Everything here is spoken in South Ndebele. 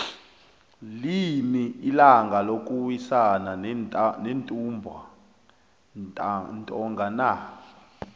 lini ilanga lokuwisana nentumba ntonga na